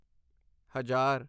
ਹਜ਼ਾਰ